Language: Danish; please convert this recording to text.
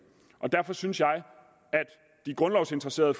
og derfor synes jeg at de grundlovsinteresserede